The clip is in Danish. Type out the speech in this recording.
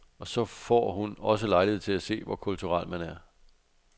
Og så får hun også lejlighed til at se, hvor kulturel man er.